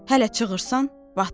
Hələ çığırsan, batdın.